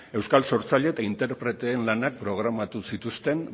euskal sortzaile eta interpreteen lanak programatu zituzten